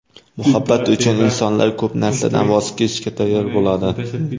Muhabbat uchun insonlar ko‘p narsadan voz kechishga tayyor bo‘ladi.